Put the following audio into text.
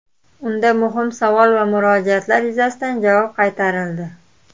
Unda muhim savol va murojaatlar yuzasidan javob qaytarildi.